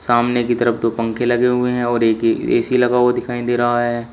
सामने की तरफ दो पंखे लगे हुए हैं और एक ए_सी लगा हुआ दिखाई दे रहा है।